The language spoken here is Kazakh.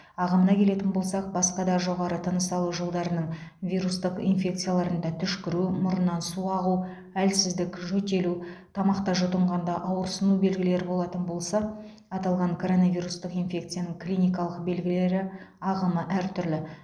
ағымына келетін болсақ басқа да жоғары тыныс алу жолдарының вирустық инфекцияларында түшкіру мұрыннан су ағу әлсіздік жөтелу тамақта жұтынғанда ауырсыну белгілер болатын болса аталған коронавирустық инфекцияның клиникалық белгілері ағымы әр түрлі